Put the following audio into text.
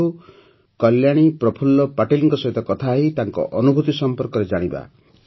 ଆସନ୍ତୁ କଲ୍ୟାଣୀ ପ୍ରଫୁଲ୍ଲ ପାଟିଲଙ୍କ ସହିତ କଥା ହୋଇ ତାଙ୍କ ଅନୁଭୁତି ସମ୍ପର୍କରେ ଜାଣିବା